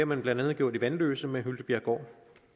man blandt andet gjort i vanløse med hyltebjerggård